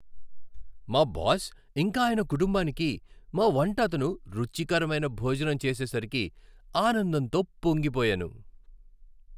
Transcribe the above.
మా బాస్, ఇంకా ఆయన కుటుంబానికి మా వంట అతను రుచికరమైన భోజనం చేసేసరికి ఆనందంతో పొంగిపోయాను.